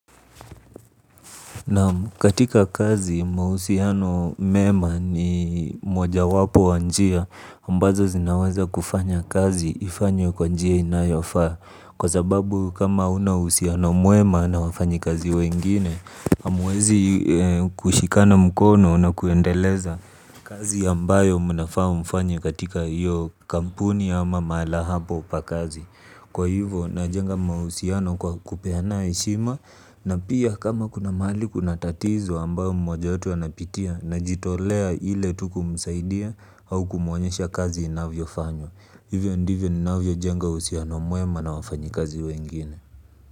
Naam katika kazi mahusiano mema ni moja wapo wa njia ambazo zinaweza kufanya kazi ifanywe kwa njia inayofaa. Kwa sababu kama huna uhusiano mwema na wafanyi kazi wengine hamuwezi kushikana mkono na kuendeleza kazi ambayo mnafaa mfanye katika hiyo kampuni ama mahala hapo pa kazi kwa hivo najenga mahusiano kwa kupeana heshima na pia kama kuna mahali kuna tatizo ambayo mmoja wetu anapitia najitolea ile tu kumsaidia au kumuonyesha kazi inavyofanywa. Hivyo ndivyo ninavyo jenga uhusiano mwema na wafanyi kazi wengine.